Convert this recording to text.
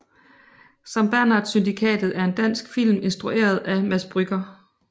Sankt Bernhard Syndikatet er en dansk film instrueret af Mads Brügger